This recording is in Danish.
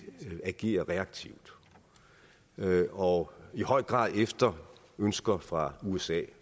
agerer reaktivt og i høj grad efter ønsker fra usa